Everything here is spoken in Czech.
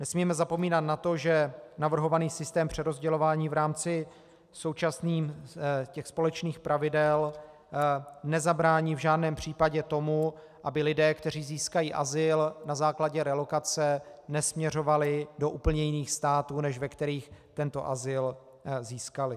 Nesmíme zapomínat na to, že navrhovaný systém přerozdělování v rámci současných společných pravidel nezabrání v žádném případě tomu, aby lidé, kteří získají azyl na základě relokace, nesměřovali do úplně jiných států, než ve kterých tento azyl získali.